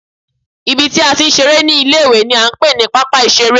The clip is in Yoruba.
Ibi tí a ti ń ṣeré ní ilé ìwé ni à ń pè ní pápá ìṣeré